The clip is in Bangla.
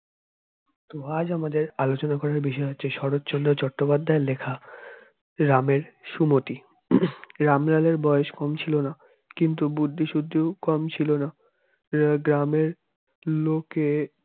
তো আজ আমাদের আলোচনা করার বিষয় হচ্ছে শরৎচন্দ্র চট্টোপাধ্যায়ের লেখা রামের সুমতি হম রামলালের বয়স কম ছিল না কিন্তু বুদ্ধিশুদ্ধি কম ছিল না গ্রামের লোকে